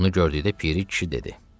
Bunu gördükdə Piri kişi dedi: